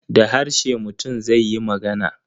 Da harshe mutum zai yi magana.